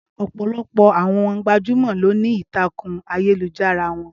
Ọpọlọpọ àwọn gbajúmọ ló ní ìtakun ayélujára wọn